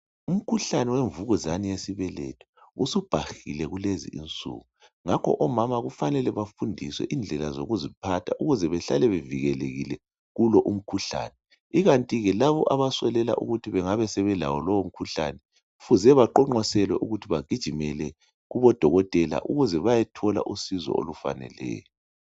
Umkhuhlane wemvukuzane yesibelethe usubhahile kulezi insuku ngakho omama kufanele bafundiswe indlela yokuziphatha ukuze behlale bevikelekile kulowo mkhuhlane ikanti ke laba abaswelela ukuthi bengabe sebelawo lowo umkhuhlane kufuze baqonqoselwe ukuthi bagijimela kubodokotela ukuze bayethola usizo olufaneleyo.